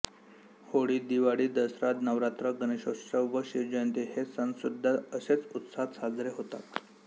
होळी दिवाळी दसरा नवरात्र गणेशोत्सव व शिवजयंती हे सणसुद्धा असेच उत्साहात साजरे होतात